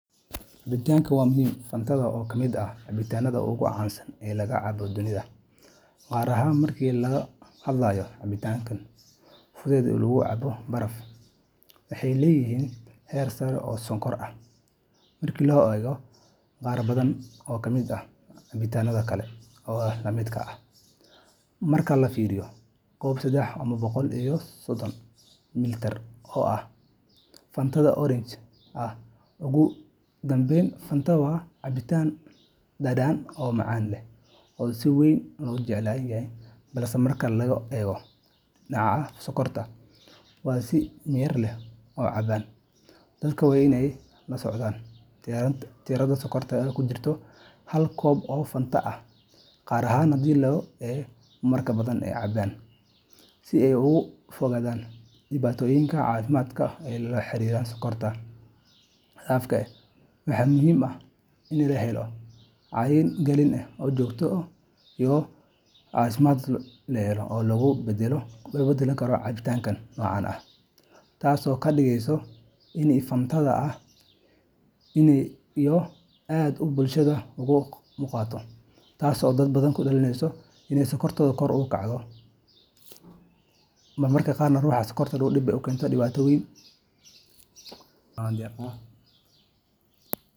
Cabitankan waa muhim Fantada, oo ka mid ah cabitaanada ugu caansan ee la cabo dunida, gaar ahaan marka laga hadlayo cabitaanada fudud ee lagu cabo baraf, waxay leedahay heer sare oo sonkor ah marka loo eego qaar badan oo ka mid ah cabitaanada kale ee la midka ah. Marka la fiiriyo koob sedex boqol iyo sodon mililitar ah oo Fanta Orange ah, Ugu dambayn, Fantada waa cabitaan dhadhan macaan leh oo si weyn loo jecel yahay, balse marka laga eego dhinaca sonkorta, waa in si miyir leh loo cabaa. Dadka waa in ay la socdaan tirada sonkorta ee ku jirta hal koob oo Fantada ah, gaar ahaan haddii ay marar badan cabaan, si ay uga fogaadaan dhibaatooyinka caafimaad ee la xiriira sonkorta xad-dhaafka ah. Waxaa muhiim ah in la helo wacyi gelin joogto ah iyo doorashooyin caafimaad leh oo loogu beddeli karo cabitaanada noocan ah. Taso kadigesysa ini fantada aad iyo aad ay bulshada uga muqato. Taso dad badan kadalineso iney sonkortoda kor u kacdo marmarka qarna ruxa dib ayey u kentaa ama dibatoyin.